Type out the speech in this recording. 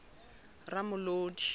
ramolodi